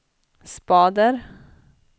spader